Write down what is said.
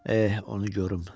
Eh, onu görüm.